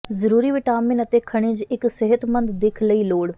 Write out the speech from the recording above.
ਜ਼ਰੂਰੀ ਵਿਟਾਮਿਨ ਅਤੇ ਖਣਿਜ ਇੱਕ ਸਿਹਤਮੰਦ ਦਿੱਖ ਲਈ ਲੋੜ